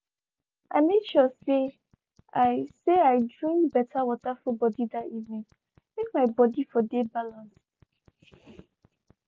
i make sure say i say i drink better water full body that evening make my body for dey balanced.